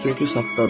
çünki saxtadır.